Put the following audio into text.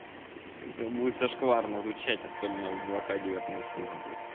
это будет зашкварно звучать особенно в два к девятнадцатом году